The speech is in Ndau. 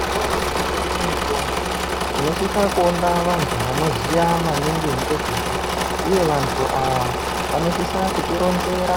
Zvitoro zvinotengese mitombo tinosisa kuona vantu vanoziya maningi ngezvazvo. Uye vantu ava vanosisa kutironzera